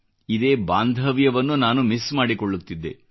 ಇದೇ ಬಾಂಧವ್ಯವನ್ನು ನಾನು ಮಿಸ್ ಮಾಡಿಕೊಳ್ಳುತ್ತಿದ್ದೆ